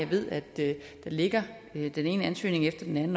ved at der ligger den ene ansøgning efter den anden